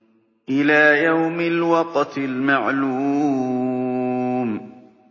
إِلَىٰ يَوْمِ الْوَقْتِ الْمَعْلُومِ